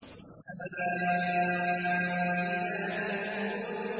وَالسَّمَاءِ ذَاتِ الْبُرُوجِ